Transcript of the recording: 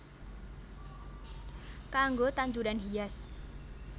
Kanggo tanduran hias